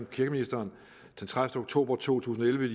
kirkeministeren den tredivete oktober to tusind og elleve